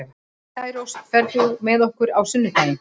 Særós, ferð þú með okkur á sunnudaginn?